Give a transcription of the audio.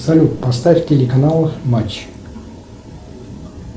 салют поставь телеканал матч